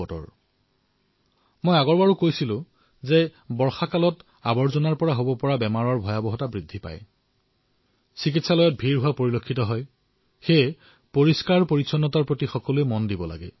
যোৱাবাৰ মই আপোনালোকক কৈছিলো যে বাৰিষাত লেতেৰা আৰু ইয়াৰ পৰা হোৱা ৰোগৰ ক্ষতি বৃদ্ধি হয় চিকিৎসালয়ত ভিৰ বৃদ্ধি হয় আৰু সেইবাবে আপোনালোকে পৰিষ্কাৰপৰিচ্ছন্নতাৰ প্ৰতি ধ্যান দিয়ক